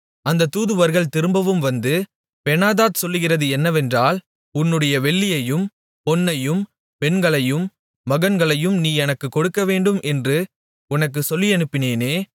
அந்த தூதுவர்கள் திரும்பவும் வந்து பெனாதாத் சொல்லுகிறது என்னவென்றால் உன்னுடைய வெள்ளியையும் பொன்னையும் பெண்களையும் மகன்களையும் நீ எனக்குக் கொடுக்கவேண்டும் என்று உமக்குச் சொல்லியனுப்பினேனே